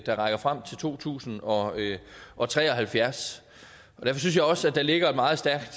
der rækker frem til to tusind og og tre og halvfjerds derfor synes jeg også at der ligger et meget stærkt